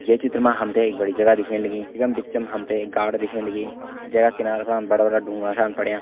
ये चित्र मा हमते एक बड़ी जगह दिखेण लगीं इखम बिचम हमते एक गार्ड दिखेण लगीं जेका किनारा पण बड़ा-बड़ा ढुंगा असान पड़ियां।